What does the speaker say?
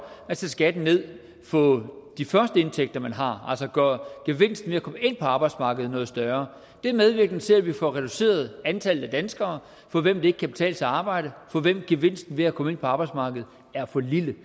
at sætte skatten ned for de første indtægter man har altså gøre gevinsten ved at komme ind på arbejdsmarkedet noget større det er medvirkende til at vi får reduceret antallet af danskere for hvem det ikke kan betale sig at arbejde for hvem gevinsten ved at komme ind på arbejdsmarkedet er for lille